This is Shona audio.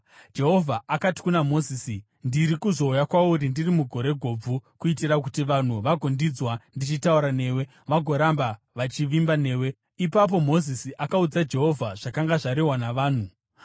Jehovha akati kuna Mozisi, “Ndiri kuzouya kwauri ndiri mugore gobvu, kuitira kuti vanhu vagondinzwa ndichitaura newe vagoramba vachivimba newe.” Ipapo Mozisi akaudza Jehovha zvakanga zvarehwa navanhu.